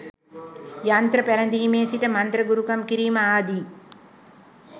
යන්ත්‍ර පැළැදීමේ සිට මන්ත්‍ර ගුරුකම් කිරීම ආදි